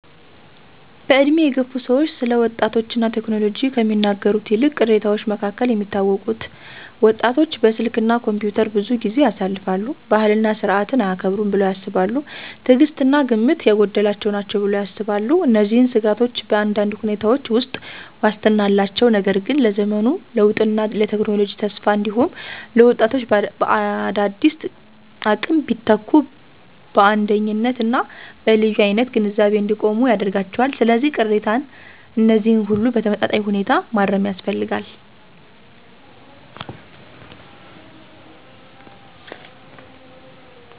በዕድሜ የገፉ ሰዎች ስለ ወጣቶች እና ቴክኖሎጂ ከሚናገሩት ቅሬታዎች መካከል የሚታወቁት: ወጣቶች በስልክ እና ኮምፒውተር ብዙ ጊዜ ያሳልፋሉ። ባህልና ሥርዓትን አያከብሩም ብለው ያስባሉ። ትዕግሥት እና ግምት የጎደላቸው ናቸው ብለው ያስባሉ። እነዚህን ስጋቶች በአንዳንድ ሁኔታዎች ውስጥ ዋስትና አላቸው፣ ነገር ግን ለዘመኑ ለውጥና ለቴክኖሎጂ ተስፋ እንዲሁም ለወጣቶች በአዳዲስ አቅም ቢተኩ በአንደኝነት እና በልዩ አይነት ግንዛቤ እንዲቆሙ ያደርጋቸዋል። ስለዚህ፣ ቅሬታ እነዚህን ሁሉ በተመጣጣኝ ሁኔታ ማረም ያስፈልጋል።